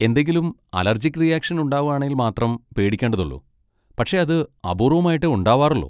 എന്തെങ്കിലും allergic reaction ഉണ്ടാവാണേൽ മാത്രം പേടിക്കണ്ടതൊള്ളൂ, പക്ഷെ അത് അപൂർവ്വമായിട്ടേ ഉണ്ടാവാറൊള്ളൂ.